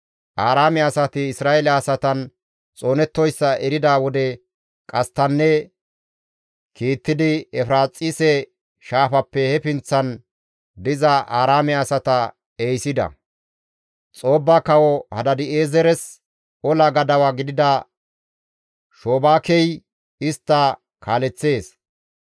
Aaraame asati Isra7eele asatan xoonettoyssa erida wode qasttanne kiittidi Efiraaxise Shaafappe he pinththan diza Aaraame asata ehisida; Xoobba kawo Hadaadi7eezeres ola gadawa gidida Shobaakey istta kaaleththees.